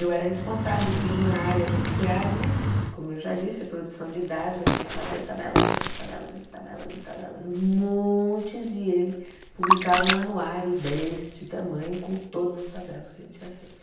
Eu era responsável por uma área do SEAD, como eu já disse, a produção de dados, a gente fazia tabelas e mais tabelas e tabelas e tabelas, montes, e ele publicava um anuário deste tamanho com todas as tabelas que a gente tinha feito.